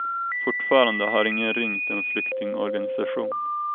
Fortfarande har ingen ringt en flyktingorganisation.